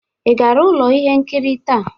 Ị gara ụlọ ihe nkiri taa?